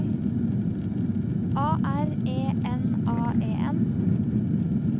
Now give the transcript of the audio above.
A R E N A E N